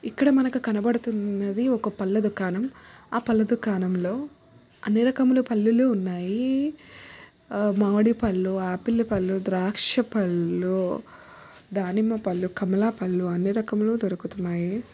ఇక్కడ మనకు కనపడుతున్నది ఒక పళ్ళ దుకాణం ఆ పళ్ళ దుకాణంలో అన్ని రకముల పళ్ళులు ఉన్నాయి. మామిడి పళ్ళు ఆపిల్ పళ్ళు ద్రాక్ష పళ్ళు దానిమ్మ పళ్ళు కమల పళ్ళు అన్ని రకములు దొరుకుతున్నాయి.